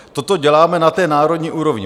Toto děláme na té národní úrovni.